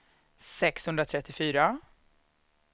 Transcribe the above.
sexhundratrettiofyra